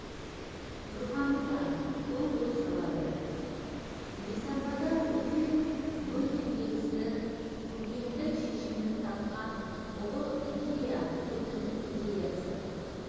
тұрғаны да көп ой салады елтаңбада өте-мөте келісті көркемдік шешімін тапқан ұлы идея еркіндік идеясы